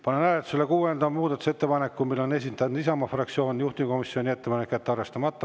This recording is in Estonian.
Panen hääletusele kuuenda muudatusettepaneku, mille on esitanud Isamaa fraktsioon, juhtivkomisjoni ettepanek: jätta arvestamata.